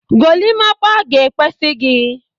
Golimapa ga-ekwesi gị.